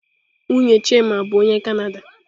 Nwunye Chima bụ onye Kanada.